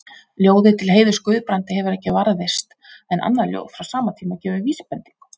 Ljóðið til heiðurs Guðbrandi hefur ekki varðveist, en annað ljóð frá sama tíma gefur vísbendingu.